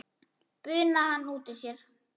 bunaði hann út úr sér.